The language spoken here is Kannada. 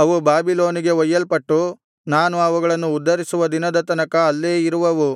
ಅವು ಬಾಬಿಲೋನಿಗೆ ಒಯ್ಯಲ್ಪಟ್ಟು ನಾನು ಅವುಗಳನ್ನು ಉದ್ಧರಿಸುವ ದಿನದ ತನಕ ಅಲ್ಲೇ ಇರುವವು